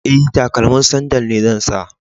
E, takalmin sandal ne zan sa.